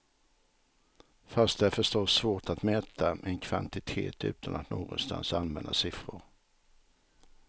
Fast det är förstås svårt att mäta en kvantitet utan att någonstans använda siffror.